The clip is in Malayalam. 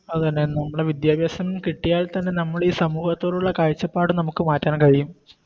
അതെന്നെ നമ്മടെ വിദ്യഭ്യാസം കിട്ടിയാൽ തന്നെ നമ്മളീ സമൂഹത്തോടുള്ള കാഴ്ചപ്പാട് നമുക്ക് മാറ്റാൻ കഴിയും